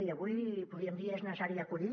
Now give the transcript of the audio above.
i avui podríem dir que és necessari acollir